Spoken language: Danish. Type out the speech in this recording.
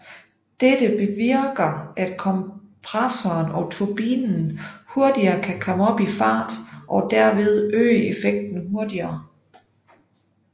Dette bevirker at kompressoren og turbinen hurtigere kan komme op i fart og derved øge effekten hurtigere